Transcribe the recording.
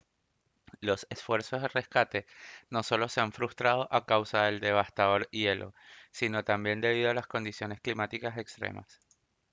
los esfuerzos de rescate no solo se han frustrado a causa del devastador hielo sino también debido a las condiciones climáticas extremas